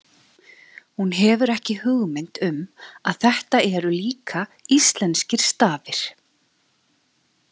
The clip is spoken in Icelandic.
Hún hefur ekki hugmynd um að þetta eru líka íslenskir stafir.